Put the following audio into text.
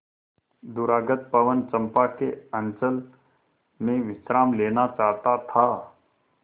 दूरागत पवन चंपा के अंचल में विश्राम लेना चाहता था